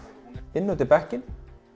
inn undir bekkinn